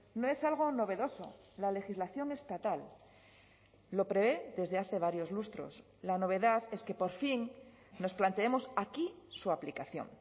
no es algo novedoso la legislación estatal lo prevé desde hace varios lustros la novedad es que por fin nos planteemos aquí su aplicación